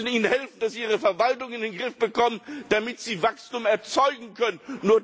Wir müssen ihnen helfen, dass sie ihre Verwaltung in den Griff bekommen, damit sie Wachstum erzeugen können.